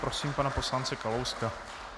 Prosím pana poslance Kalouska.